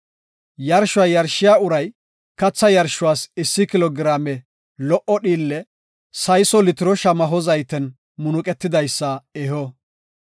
Yarshuwa yarshiya uray katha yarshuwas issi kilo giraame lo77o dhiille sayso litiro shamaho zayten munuqetidaysa eho.